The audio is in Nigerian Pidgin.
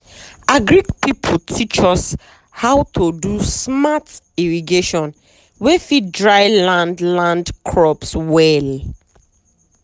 agric people teach us how to do smart irrigation wey fit dry land land crops well.